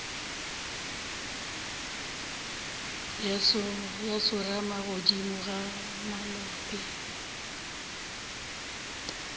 ya tsorama godimo ga molope